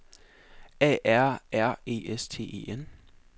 A R R E S T E N